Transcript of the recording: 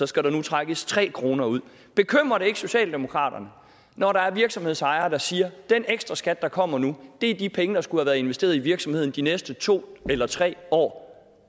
skal der nu trækkes tre kroner ud bekymrer det ikke socialdemokraterne når der er virksomhedsejere der siger at den ekstraskat der kommer nu er de penge der skulle have været investeret i virksomheden de næste to eller tre år